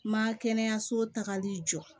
Ma kɛnɛyaso tagali jɔ